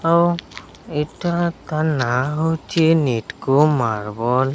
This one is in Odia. ଆଉ ଏଠାକା ନାଁ ହୋଉଚି ନିଟକୋ ମାର୍ବଲ ।